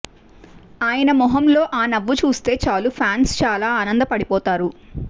ఆయన మొహంలో ఆ నవ్వు చూస్తే చాలు ఫ్యాన్స్ చాలా ఆనంద పడిపోతారు